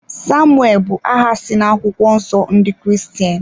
Samuel bụ aha si na akwụkwọ nsọ ndị Kiristian